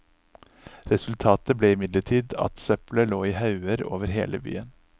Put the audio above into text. Resultatet ble imidlertid at søppelet lå i hauger over hele byen.